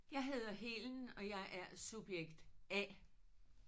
Jeg hedder Helen og jeg er subjekt A